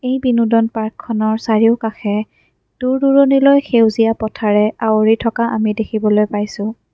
এই বিনোদন পাৰ্কখনৰ চাৰিওকাষে দূৰ দূৰণিলৈ সেউজীয়া পথাৰে আৱৰি থকা আমি দেখিবলৈ পাইছোঁ।